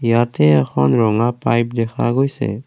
ইয়াতে এখন ৰঙা পাইপ দেখা গৈছে।